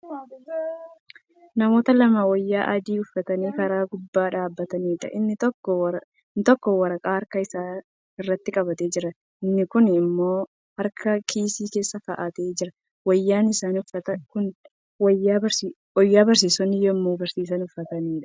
Namoota lama wayyaa adii uffatanii karaa gubbaa dhaabataniidha. Inni tokko waraqaa harka isaa irratti qabatee jira. Inni kuun immoo harka kiisii keessa kaa'atee jira. Wayyaan isaan uffatan Kuni wayyaa barsiisonni yemmuu barsiisan uffataniidha.